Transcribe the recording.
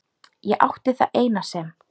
Ég átti það eina sem